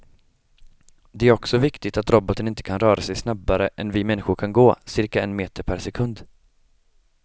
Det är också viktigt att roboten inte kan röra sig snabbare än vi människor kan gå, cirka en meter per sekund.